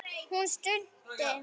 Hún stundi.